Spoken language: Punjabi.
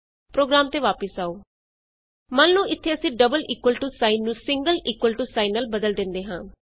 ਪ੍ਰੋਗਰਾਮ ਤੇ ਵਾਪਸ ਆਉ ਮੰਨ ਲਉ ਇਥੇ ਅਸੀਂ ਡਬਲ ਇਕੁਅਲ ਟੂ ਸਾਈਨ ਨੂੰ ਸਿੰਗਲ ਇਕੁਅਲ ਟੂ ਸਾਈਨ ਨਾਲ ਬਦਲ ਦਿੰਦੇ ਹਾਂ